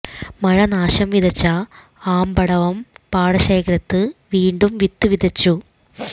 മഴ നാശം വിതച്ച ആമ്പടവം പാടശേഖരത്ത് വീണ്ടും വിത്ത് വിതച്ചു